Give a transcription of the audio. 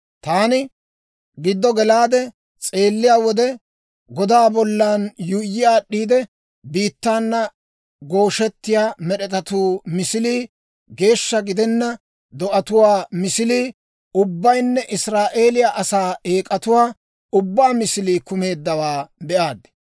Taani giddo gelaade s'eelliyaa wode, godaa bollan yuuyyi aad'd'iide biittaana gooshettiyaa med'etatuu misilii, geeshsha gidenna do'atuwaa misilii ubbaynne Israa'eeliyaa asaa eek'atuwaa ubbaa misilii kumeeddawaa be'aad.